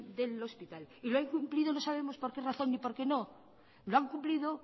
del hospital y lo ha incumplido no sabemos por qué razón ni por qué no lo ha incumplido